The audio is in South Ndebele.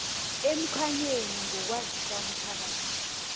emkhanyweni ngokwazisa umphakathi